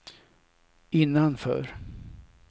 innanför